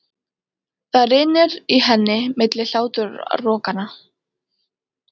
Það rymur í henni milli hláturrokanna.